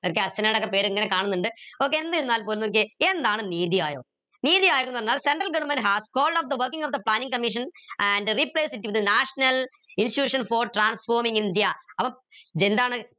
അർച്ചന ടെക്കെ പേര് ഇങ്ങനെ കാണുനിണ്ട് okay എന്തിരുന്നാൽ പോലും നോക്കിയേ എന്താണ് നീതി ആയോഗ് നീതി ആയോഗ് ന്ന് പറഞ്ഞാൽ central government has called of the working of the Planning Commission and replace it with national institution for transforming India അപ്പൊ ഇതെന്താണ്